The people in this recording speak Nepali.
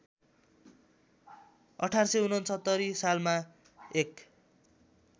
१८६९ सालमा एक